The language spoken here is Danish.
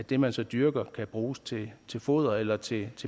det man så dyrker kan bruges til foder eller til